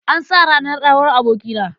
An sa ran auren abokina.